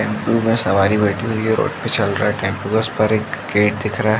टेम्पों में सवारी बेठी हुई हैं। रोड पे चल रहा है टेम्पों का उस पार एक गेट दिख रहा है।